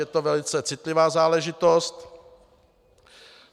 Je to velice citlivá záležitost.